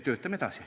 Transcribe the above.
Töötame edasi.